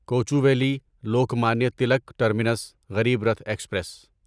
Kochuveli Lokmanya Tilak terminus Garib Rath express